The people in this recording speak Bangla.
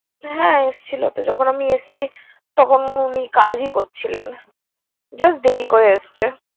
হ্যা এসেছিল তো, যখন আমি এসছি। তখন উনি কাজই করছিলেন just দেরি করে এসছে।